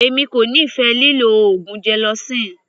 Èmi kò nífẹ̀ẹ́ lílọ oògùn gelocin.